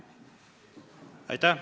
Aitäh!